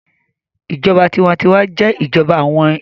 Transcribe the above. Ìjọba tinwatinwa jẹ́ ìjọba àwọn èèyàn